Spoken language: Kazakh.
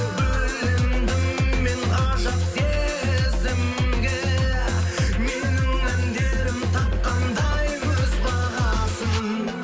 бөлендім мен ғажап сезімге менің әндерім тапқандай өз бағасын